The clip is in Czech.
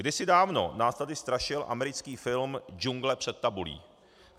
Kdysi dávno nás tady strašil americký film Džungle před tabulí.